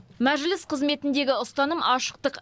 мәжіліс қызметіндегі ұстаным ашықтық